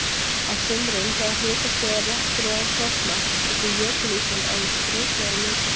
Á sumrin þegar hitastigið er rétt fyrir ofan frostmark, getur jökulísinn orðið skrautlegur á litinn.